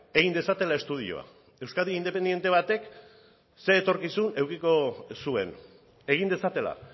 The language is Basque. egin dezatela estudioa euskadi independente batek ze etorkizun edukiko zuen egin dezatela